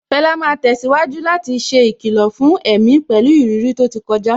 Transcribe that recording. Fela máa tẹ̀síwájú láti ṣe ìkìlọ̀ fún èmi pẹ̀lú ìrírí tó ti kọjá.